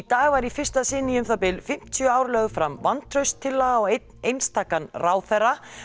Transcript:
dag var í fyrsta sinn í um það bil fimmtíu ár lögð fram vantrauststillaga á einn einstakan ráðherra